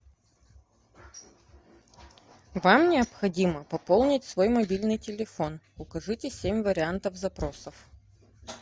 вам необходимо пополнить свой мобильный телефон укажите семь вариантов запросов